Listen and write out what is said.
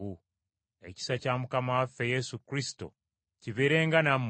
Ekisa kya Mukama waffe Yesu Kristo kibeerenga nammwe.